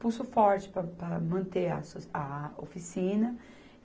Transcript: Pulso forte pa para manter a asso, a oficina.